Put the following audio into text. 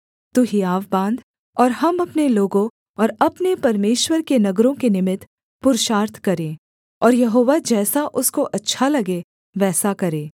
तू हियाव बाँध और हम अपने लोगों और अपने परमेश्वर के नगरों के निमित्त पुरुषार्थ करें और यहोवा जैसा उसको अच्छा लगे वैसा करे